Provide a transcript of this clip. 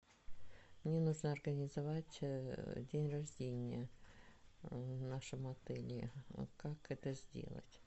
мне нужно организовать день рождения в нашем отеле как это сделать